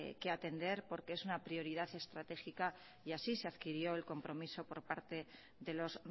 que atender porque es una prioridad estratégica y así se adquirió el compromiso por parte de los